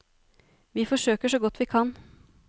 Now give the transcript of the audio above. Vi forsøker så godt vi kan.